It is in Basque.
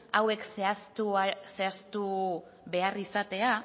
hauek zehaztu behar izatea